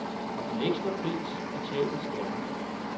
Og den ekstra pris betales gerne.